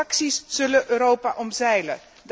Transacties zullen Europa omzeilen.